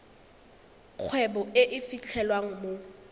kgwebo e e fitlhelwang mo